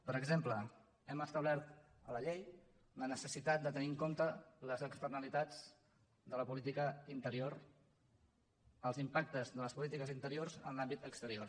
per exemple hem establert a la llei la necessitat de tenir en compte les externalitats de la política interior els impactes de les polítiques interiors en l’àmbit exterior